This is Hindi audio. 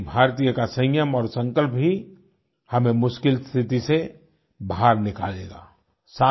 एकएक भारतीय का संयम और संकल्प भी हमें मुश्किल स्थिति से बाहर निकालेगा